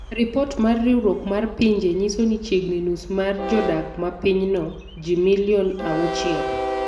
Ripot mar riwruok mar pinje nyiso ni chiegni nus mar jodak ma pinyno - ji milion auchiel